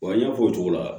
Wa n y'a fɔ o cogo la